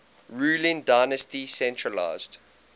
ruling dynasty centralised